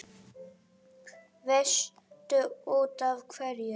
Veistu útaf hverju?